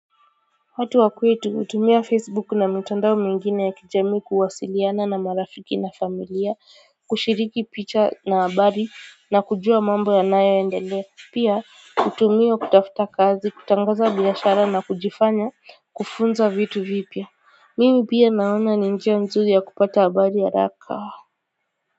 Watu wa kwetu hutumia facebook na mitandao mingine ya kijamii kuwasiliana na marafiki na familia kushiriki picha na habari na kujua mambo yanayo endelea pia hutumiwa kutafuta kazi kutangaza biashara na kujifanya kufunza vitu vipya mimi pia naona ni njia nzuri yakupata habari haraka.